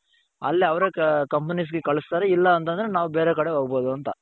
ಅಲ್ಲೇ ಅವರೇ companiesಗೆ ಕಳುಸ್ತಾರೆ ಇಲ್ಲ ಅಂತಂದ್ರೆ ನಾವು ಬೇರೆ ಕಡೆ ಹೋಗ್ಬಹುದು ಅಂತ.